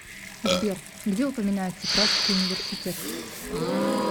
сбер где упоминается пражский университет